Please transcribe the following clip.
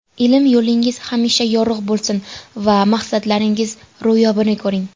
Ilm yo‘lingiz hamisha yorug‘ bo‘lsin va maqsadlaringiz ro‘yobini ko‘ring!